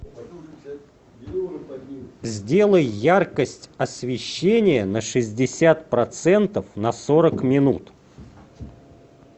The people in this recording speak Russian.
сделай яркость освещения на шестьдесят процентов на сорок минут